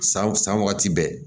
San san wagati bɛɛ